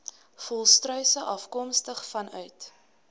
volstruise afkomstig vanuit